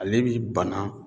Ale bi bana